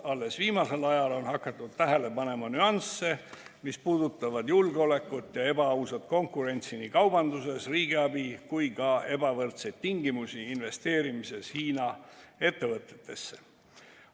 Alles viimasel ajal on hakatud tähele panema nüansse, mis puudutavad julgeolekut ja ebaausat konkurentsi nii kaubanduses kui ka ebavõrdseid tingimusi investeerimises Hiina ettevõtetesse.